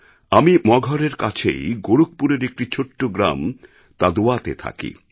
আমি মগহরএর কাছেই গোরখপুরের একটা ছোট গ্রাম Tadwaতে থাকি